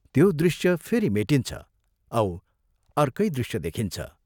त्यो दृश्य फेरि मेटिन्छ औ अर्कै दृश्य देखिन्छ।